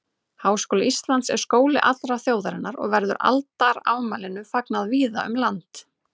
Háskóli Íslands er skóli allrar þjóðarinnar og verður aldarafmælinu fagnað víða um land.